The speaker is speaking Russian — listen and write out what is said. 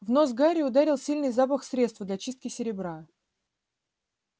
в нос гарри ударил сильный запах средства для чистки серебра